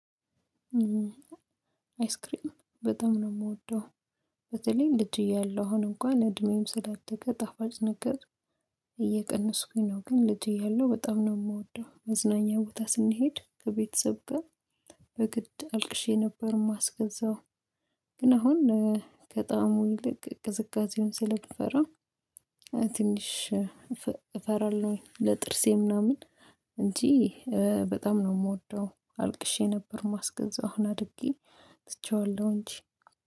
አይስክሪም በጣም ነው የምወደው። በተለይ ልጅ እያለው አሁን እንኳን እድሜዬም ስላደገ ጣፋጭ ነገር እየቀነስኩኝ ነው። ግን ልጅ እያለሁ በጣም ነው የወደው። መዝናኛ ቦታ ስንሄድ ከቤተሰብ ጋር በግድ አልቅሼ ነበር ማስገዛው። ግን አሁን ከጣም ይልቅ ቅዝቃዜውን ስለተፈራ ትንሽ እፈራለሁ። ለጥርሴ ምናምን እንጂ በጣም ነው የምወደው። አልቅሼ ነበር ማስገዛው አሁን አድጌ ትቼዋለሁ እንጂ